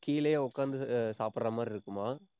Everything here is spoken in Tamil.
கீழயே உட்கார்ந்து அஹ் சாப்பிடுற மாதிரி இருக்குமாம்.